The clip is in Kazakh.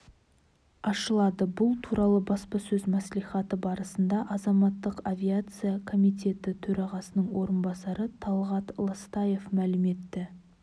ашылады бұл туралы баспасөз мәслихаты барысында азаматтық авиация комитеті төрағасының орынбасары талғат ластаев мәлім етті